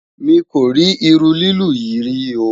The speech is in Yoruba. mí kò rí iru lilu yí rí o